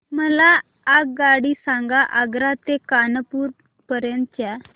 मला आगगाडी सांगा आग्रा ते कानपुर पर्यंत च्या